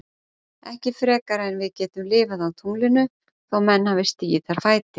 Ekki frekar en við getum lifað á tunglinu þó menn hafi stigið þar fæti.